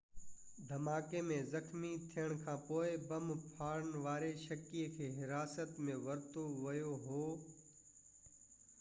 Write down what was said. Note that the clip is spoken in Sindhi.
دهماڪي ۾ زخمي ٿيڻ کانپوءِ بم ڦاڙڻ واري شڪي کي حراست ۾ ورتو ويو هو